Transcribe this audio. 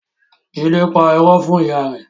Jide pa ìró fún ìyá rẹ